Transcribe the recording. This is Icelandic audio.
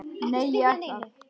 Nei, ég ætla að.